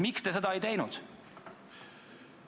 Miks te seda ei teinud?